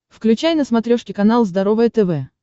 включай на смотрешке канал здоровое тв